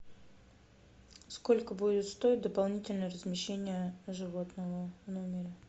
сколько будет стоить дополнительное размещение животного в номере